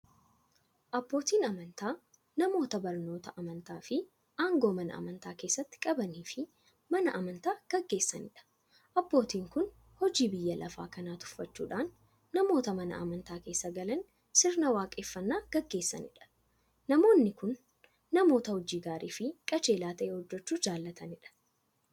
Abbootiin amantaa namoota barnoota amantaafi aangoo Mana amantaa keessatti qabaniifi Mana amantaa gaggeessaniidha. Abbootiin kun hojii biyya lafaa kana tuffachuudhan namoota Mana amantaa keessa galanii sirna waaqeffannaa gaggeessaniidha. Namoonni kun, namoota hojii gaariifi qajeelaa ta'e hojjachuu jaalataniidha.